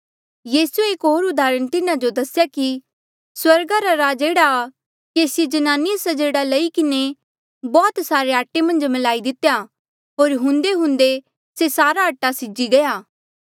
यीसूए एक होर उदाहरण तिन्हा जो दसेया कि स्वर्गा रा राज एह्ड़ा आ केसी जनानिये स्जेड़ा लई किन्हें बौह्त सारे आटे मन्झ म्लाई दितेया होर हुंदेहुंदे से सारा आटा सीजी गया